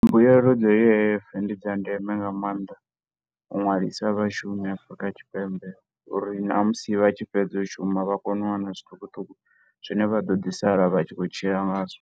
Mbuelo dza U_I_F ndi dza ndeme nga maanḓa, u nwalisa vhashumi Afrika Tshipembe, uri na musi vha tshi fhedza u shuma vha kone u wana zwiṱukuṱuku zwine vha ḓo ḓi sala vha tshi khou tshila nga zwo.